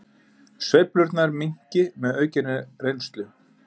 Sveiflurnar minnki með aukinni reynslu